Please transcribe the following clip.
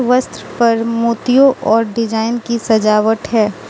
वस्त्र पर मोतियों और डिजाइन की सजावट है।